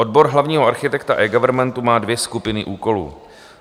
Odbor hlavního architekta eGovernmentu má dvě skupiny úkolů.